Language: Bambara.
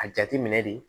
A jateminɛ de